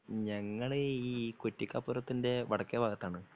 ഞങ്ങള് ഈ കുറ്റിക്കപ്പുറത്തിൻ്റെ വടക്കേ ഭാഗത്താണ്